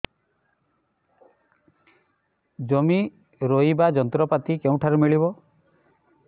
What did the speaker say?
ଜମି ରୋଇବା ଯନ୍ତ୍ରପାତି କେଉଁଠାରୁ ମିଳିବ